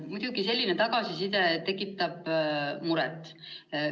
Muidugi selline tagasiside tekitab muret.